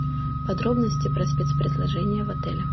подробности про спецпредложения в отеле